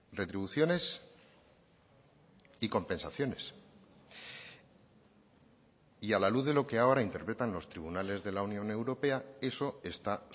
retribuciones y compensaciones y a la luz de lo que ahora interpretan los tribunales de la unión europea eso está